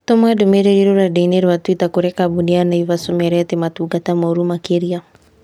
Tũma ndũmĩrĩri rũrenda-inī rũa tũita kũrĩ kambuni ya Naivas ũmeere atĩ matungataga mooru makĩria